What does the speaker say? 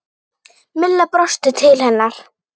Milla brosti til hennar.